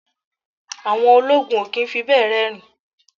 Àwọn ológun o kì í fi bẹ́ẹ̀ rẹ́rìn-ín.